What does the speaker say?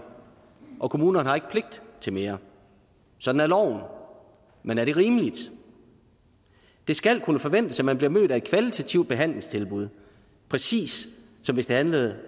og kommunerne har ikke pligt til mere sådan er loven men er det rimeligt det skal kunne forventes at man bliver mødt af et kvalitativt behandlingstilbud præcis som hvis det handlede